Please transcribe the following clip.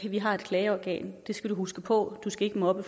vi har et klageorgan det skal du huske på du skal ikke mobbe